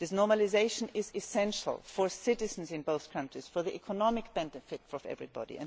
Union. This normalisation is essential for citizens in both countries and for the economic benefit of everybody.